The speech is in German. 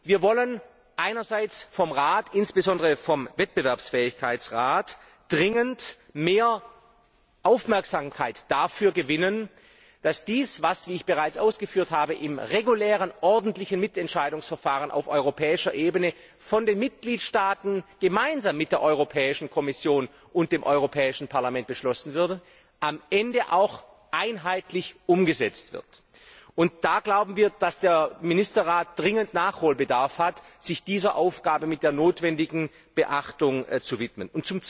Wir wollen einerseits vom Rat, insbesondere vom Wettbewerbsfähigkeitsrat, dringend mehr Aufmerksamkeit dafür gewinnen, dass dies, was, wie ich bereits ausgeführt habe, im regulären ordentlichen Mitentscheidungsverfahren auf europäischer Ebene von den Mitgliedstaaten gemeinsam mit der Europäischen Kommission und dem Europäischen Parlament beschlossen wurde, am Ende auch einheitlich umgesetzt wird, und da glauben wir, dass der Ministerrat dringend Nachholbedarf hat, sich dieser Aufgabe mit der notwendigen Beachtung zu widmen.